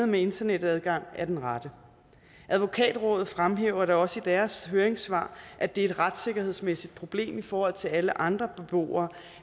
med internetadgang er den rette advokatrådet fremhæver da også i deres høringssvar at det er et retssikkerhedsmæssigt problem i forhold til at alle andre beboere